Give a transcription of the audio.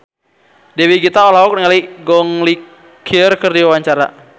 Dewi Gita olohok ningali Gong Li keur diwawancara